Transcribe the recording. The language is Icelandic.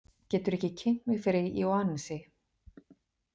Geturðu ekki kynnt mig fyrir Ionasi?